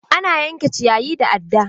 Ana yanke ciyayi da adda.